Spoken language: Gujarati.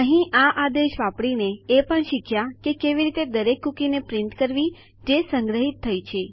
અહીં આ આદેશ વાપરીને આપણે એ પણ શીખ્યા કે કેવી રીતે દરેક કૂકીને પ્રિન્ટ કરવી જે આપણે સંગ્રહિત કરી હતી